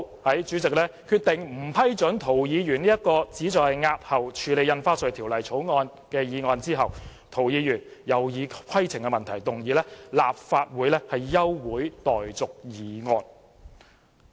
在主席決定不批准涂議員這項旨在押後處理《條例草案》的議案後，涂議員又以規程問題要求動議立法會休會待續議案。